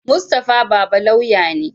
Mustapha baba lauya ne